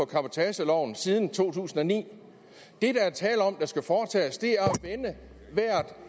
cabotageloven siden to tusind og ni det der er tale om der skal foretages er